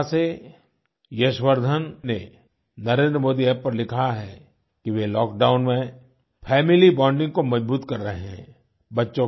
कोटा से यश वर्धन ने नरेंद्रमोदी App पर लिखा है कि वे लॉकडाउन में फैमिली बाउंडिंग को मजबूत कर रहे है